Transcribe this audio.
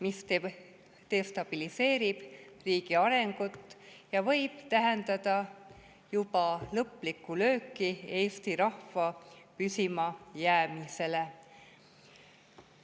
See destabiliseerib riigi arengut ja võib juba tähendada lõplikku lööki eesti rahva püsimajäämisele.